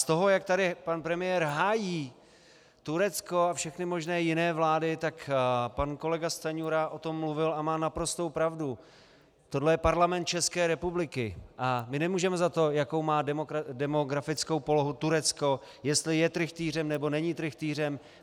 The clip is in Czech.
Z toho, jak tady pan premiér hájí Turecko a všechny možné jiné vlády, tak pan kolega Stanjura o tom mluvil a má naprostou pravdu - tohle je Parlament České republiky a my nemůžeme za to, jakou má demografickou polohu Turecko, jestli je trychtýřem, nebo není trychtýřem.